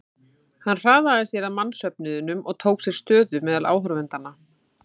Hann hraðaði sér að mannsöfnuðinum og tók sér stöðu meðal áhorfendanna.